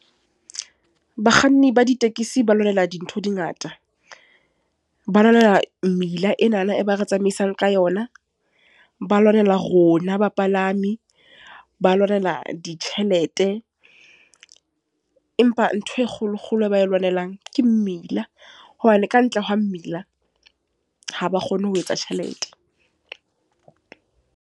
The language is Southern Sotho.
Bakganni ba ditekesi ba lwanela dintho di ngata. Ba lwanela mmila enana e ba re tsamaisang ka yona. Ba lwanela rona bapalami, ba lwanela ditjhelete. Empa ntho e kgolo kgolo e ba e lwanelang, ke mmila. Hobane ka ntle ho mmila, ha ba kgone ho etsa tjhelete.